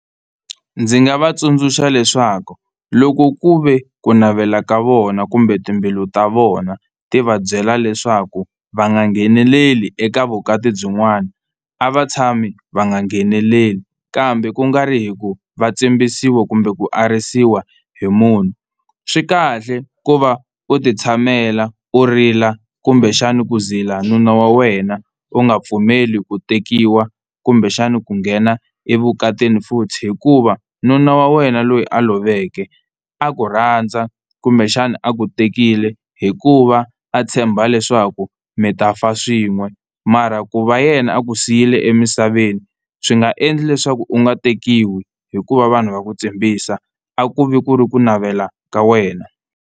Ndzi nga va tsundzuxa leswaku loko ku ve ku navela ka vona kumbe timbilu ta vona ti va byela leswaku va nga ngheneleli eka vukati byin'wana a va tshami va nga ngheneleli, kambe kungari hi ku va tsimbisiwa kumbe ku arisiwa hi munhu. Swi kahle ku va u titshamela u rila kumbexani ku zila nuna wa wena u nga pfumeli ku tekiwa kumbexana ku nghena evukatini futhi, hikuva nuna wa wena loyi a loveke a ku rhandza kumbexana a ku tekile hikuva a tshemba leswaku mi ta fa swin'we mara ku va yena a ku siyile emisaveni swi nga endli leswaku u nga tekiwi hikuva vanhu va ku tsimbisa a ku vi ku ri ku navela ka wena.